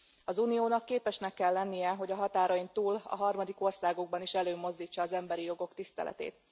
Az Uniónak képesnek kell lennie, hogy a határain túl a harmadik országokban is előmozdítsa az emberi jogok tiszteletét.